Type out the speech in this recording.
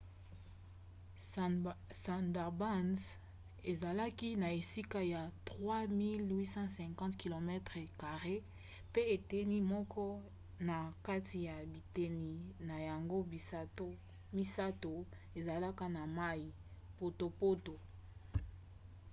sundarbans ezalaki na esika ya 3 850 km² pe eteni moko na kati ya biteni na yango misato ezala na mai/potopoto